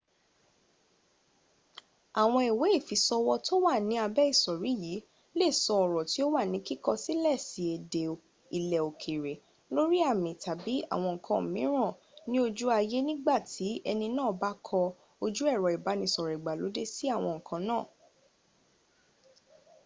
àwọn ìwé ìfisọwọ́ tí ó wà ni àbẹ́ ìsòrí yìí lè sọ ọrọ̀ tí ó wà jí kíkọ sílẹ̀sí èdè ilẹ̀ òkèrè lórí àmì tàbí àwọn nǹkan mìíràn ni ojú ayé nigbàtí ẹni náà bá kọ ojú ẹrọ ìbánisọ̀rọ̀ ìgbàlóde sí àwọn nǹkan náà